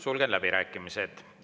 Sulgen läbirääkimised.